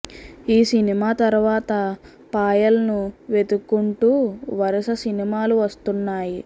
ఈ సినిమా తరువాత పాయల్ ను వెతుక్కుంటూ వరుస సినిమాలు వస్తున్నాయి